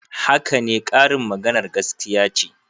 Haka ne, karin maganar gaskiya ce.